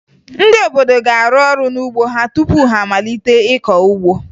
Ndị obodo ga-arụ ọrụ n'ugbo ha tupu ha amalite ịkọ ugbo